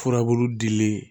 Furabulu dilen